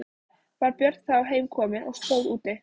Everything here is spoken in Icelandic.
Var Björn þá heim kominn og stóð úti.